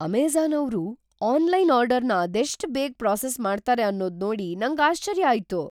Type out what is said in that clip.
Amazon ಅವ್ರು online ಆರ್ಡರ್‌ನ ಅದೆಷ್ಟ್ ಬೇಗ ಪ್ರಾಸೆಸ್ ಮಾಡ್ತಾರೆ ಅನ್ನೋದ್ ನೋಡಿ ನಂಗ್ ಆಶ್ಚರ್ಯ ಆಯ್ತು.